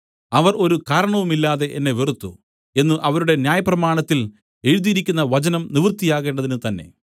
അവർ ഒരു കാരണവുമില്ലാതെ എന്നെ വെറുത്തു എന്നു അവരുടെ ന്യായപ്രമാണത്തിൽ എഴുതിയിരിക്കുന്ന വചനം നിവൃത്തിയാകേണ്ടതിന് തന്നേ